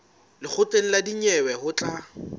lekgotleng la dinyewe ho tla